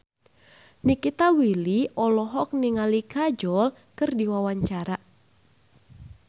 Nikita Willy olohok ningali Kajol keur diwawancara